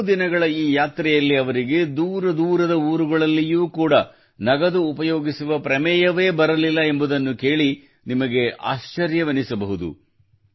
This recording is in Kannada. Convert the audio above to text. ಹಲವು ದಿನಗಳ ಈ ಯಾತ್ರೆಯಲ್ಲಿ ಅವರಿಗೆ ದೂರದೂರದ ಊರುಗಳಲ್ಲಿಯೂ ಕೂಡ ನಗದು ಉಪಯೋಗಿಸುವ ಪ್ರಮೇಯವೇ ಬರಲಿಲ್ಲ ಎಂಬುದನ್ನು ಕೇಳಿ ನಿಮಗೆ ಆಶ್ಚರ್ಯವೆನಿಸಬಹುದು